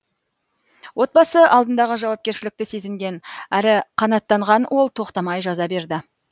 отбасы алдындағы жауапкершілікті сезінген әрі қанаттанған ол тоқтамай жаза берді